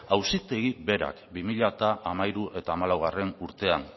auzitegi berak bi mila hamairu eta bi mila hamalaugarrena urtean